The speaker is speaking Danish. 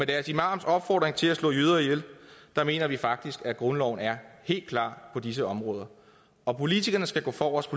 deres imams opfordring til at slå jøder ihjel mener vi faktisk at grundloven er helt klar på disse områder og politikerne skal gå forrest